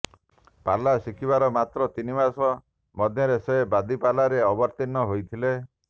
ପାଲା ଶିଖିବାର ମାତ୍ର ତିନି ମାସ ମଧ୍ୟରେ ସେ ବାଦୀପାଲାରେ ଅବତୀର୍ଣ୍ଣ ହୋଇଥିଲେ